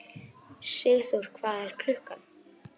Sigþór, hvað er klukkan?